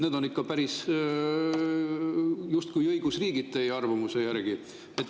Need on ikka justkui päris õigusriigid teie arvamuse järgi.